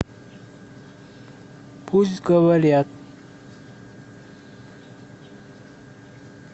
пусть говорят